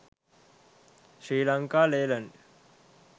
sri lanka leyland